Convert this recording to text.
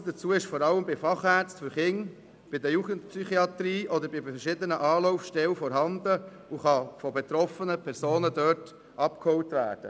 Das Fachwissen ist vor allem bei Fachärzten für Kinder- und Jugendpsychiatrie oder bei verschiedenen Anlaufstellen vorhanden und kann von betroffenen Personen dort abgeholt werden.